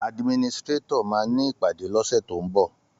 Àdímínìsitirẹtọ mà ni ìpàdé lose to ḿbọ